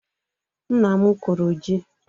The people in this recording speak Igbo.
Nna m kụrụ ji.